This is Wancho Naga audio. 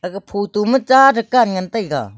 aga photo ma ta dukan ngan taiga.